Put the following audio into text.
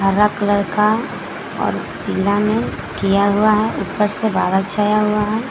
हरा कलर का और पिला में किया हुआ है ऊपर से बादल छाया हुआ है।